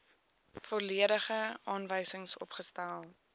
volledige aanwysings opgestel